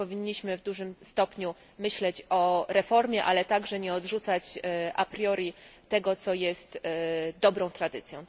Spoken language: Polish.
Powinniśmy w dużym stopniu myśleć o reformie, ale także nie odrzucać a priori tego, co jest dobrą tradycją.